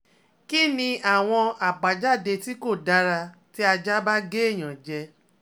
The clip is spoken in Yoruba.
Kí ni àwọn àbájáde tí kò dára tí aja ba ge eyan je